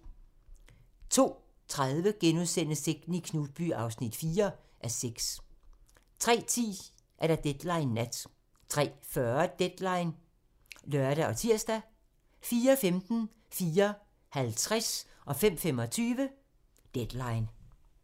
02:30: Sekten i Knutby (4:6)* 03:10: Deadline Nat 03:40: Deadline (lør og tir) 04:15: Deadline 04:50: Deadline 05:25: Deadline